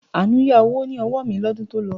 Àánú yá owó ní ọwọ́ mi lọ́dún to lọ